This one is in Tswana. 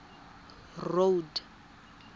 road